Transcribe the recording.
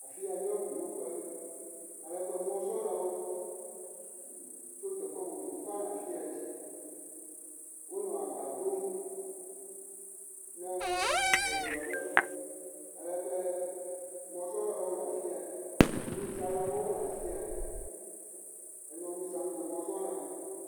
Afi yia nye eŋu ɖo ƒe. ale be mɔzɔlawo tso teƒe vovovowo vana afi yad zi. Wonɔ agba dom ne eŋua aɖe ale be, mɔzɔlawo le afi ya, enudzralawo hã le afi ya enɔ nu dzram ne mɔzɔlawo.